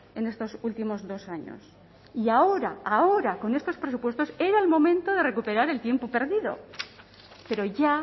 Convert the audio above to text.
en estos últimos dos años y ahora ahora con estos presupuestos era el momento de recuperar el tiempo perdido pero ya